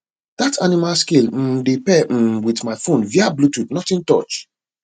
dat animal scale um dey pair um with my phone via bluetooth nothing touch